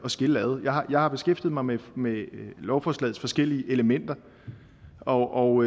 at skille ad jeg har beskæftiget mig med med lovforslagets forskellige elementer og